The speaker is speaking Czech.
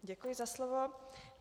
Děkuji za slovo.